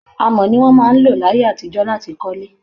Amọ̀ ni wọ́n máa ń lò láyé àtijọ́ láti kọ́lé